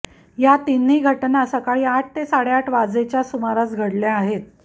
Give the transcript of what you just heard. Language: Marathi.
या तिन्ही घटना सकाळी आठ ते साडेआठ वाजेच्या सुमारास घडल्या आहेत